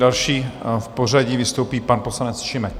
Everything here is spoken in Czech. Další v pořadí vystoupí pan poslanec Šimek.